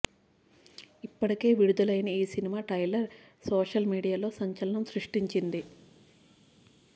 ఇప్పటికే విడుదలైన ఈ సినిమా ట్రైలర్ సోషల్ మీడియాలో సంచలనం సృష్టించింది